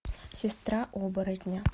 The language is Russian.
сестра оборотня